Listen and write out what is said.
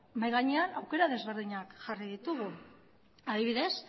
mahai gainean aukera desberdinak jarri ditugu adibidez